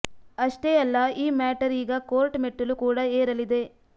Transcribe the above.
ಅಷ್ಟೇ ಅಲ್ಲ ಈ ಮ್ಯಾಟರ್ ಈಗ ಕೋರ್ಟ್ ಮೆಟ್ಟಿಲು ಕೂಡ ಏರಲಿದೆ